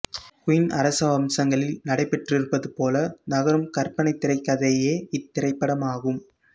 குயிங் அரச வம்சங்களில் நடைபெற்றிருப்பது போல நகரும் கற்பனைத்திரைக்கதையே இத்திரைப்படமாகும்